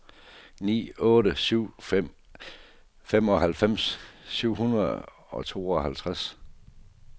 ni otte syv fem femoghalvfems syv hundrede og treoghalvtreds